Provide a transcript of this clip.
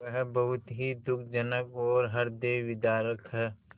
वह बहुत ही दुःखजनक और हृदयविदारक है